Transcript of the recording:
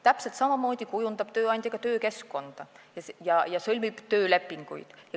Täpselt samamoodi kujundab tööandja ka töökeskkonda ja sõlmib töölepinguid.